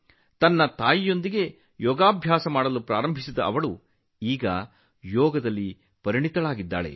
ತನ್ನ ತಾಯಿಯೊಂದಿಗೆ ಯೋಗಾಭ್ಯಾಸ ಮಾಡಲು ಪ್ರಾರಂಭಿಸಿದ ಆಕೆ ಈಗ ಯೋಗದಲ್ಲಿ ಪರಿಣತಳಾಗಿದ್ದಾಳೆ